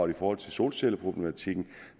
i forhold til solcelleproblematikken